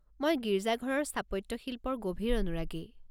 মই গীৰ্জাঘৰৰ স্থাপত্যশিল্পৰ গভীৰ অনুৰাগী।